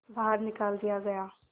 बाहर निकाल दिया गया